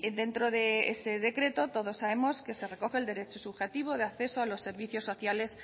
dentro de ese decreto todos sabemos que se recoge el derecho subjetivo de acceso a servicios sociales